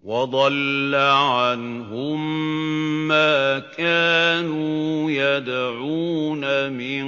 وَضَلَّ عَنْهُم مَّا كَانُوا يَدْعُونَ مِن